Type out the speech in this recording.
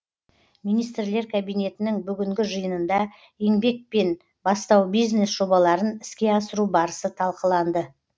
министрлер кабинетінің бүгінгі жиынында еңбек пен бастау бизнес жобаларын іске асыру барысы талқыланды